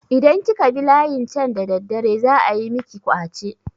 Idan kika bi layin can da daddare za ayi miki ƙwace.